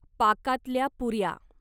पाकातल्या पुर्या